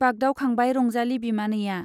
बागदावखांबाय रंजाली बिमानैया।